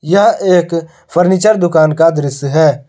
यह एक फर्नीचर दुकान का दृश्य है।